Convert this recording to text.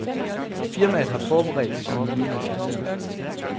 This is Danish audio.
Firmaet har forberedt sine nye maskiner.